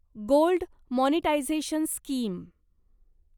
gold monetisation scheme